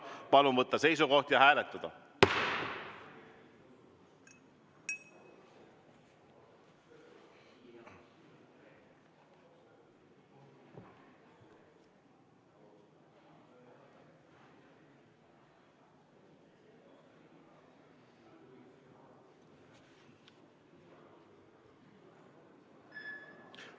Palun võtta seisukoht ja hääletada!